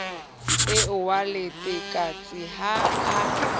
eo wa letekatse ha a